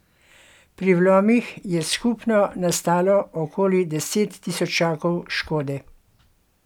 Pri vlomih je skupno nastalo okoli deset tisočakov škode.